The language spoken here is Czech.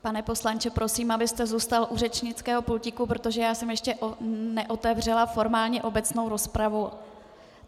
Pane poslanče, prosím, abyste zůstal u řečnického pultíku, protože já jsem ještě neotevřela formálně obecnou rozpravu.